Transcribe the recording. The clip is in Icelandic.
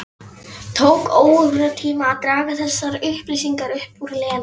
Tók óratíma að draga þessar upplýsingar upp úr Lenu.